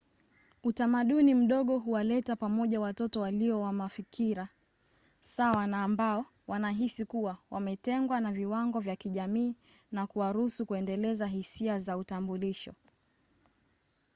utamaduni mdogo huwaleta pamoja watu walio wa mafikira sawa na ambao wanahisi kuwa wametengwa na viwango vya kijamii na kuwaruhusu kuendeleza hisia za utambulisho